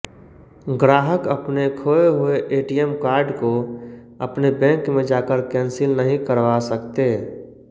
ग्राहक अपने खोए हुए एटीएम कार्ड को अपने बैंक में जाकर कैंसिल नहीं करवा सकते